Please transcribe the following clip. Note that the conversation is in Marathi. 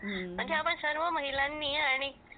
बाकी आपण सर्व महिलांनी आणि